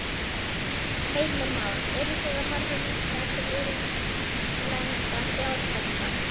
Heimir Már: Eruð þið að horfa líka til erlendra fjárfesta?